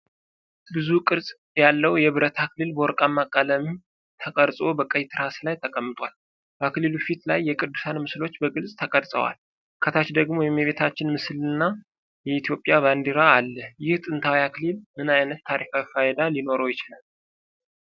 ብዙ ቅርፅ ያለው የብረት አክሊል በወርቃማ ቀለም ተቀርጾ በቀይ ትራስ ላይ ተቀምጧል። በአክሊሉ ፊት ላይ የቅዱሳን ምስሎች በግልጽ ተቀርጽዋል፣ ከታች ደግሞ የእመቤታችን ምስልና የኢትዮጵያ ባንዲራ አለ፤ ይህ ጥንታዊ አክሊል ምን ዓይነት ታሪካዊ ፋይዳ ሊኖረው ይችላል?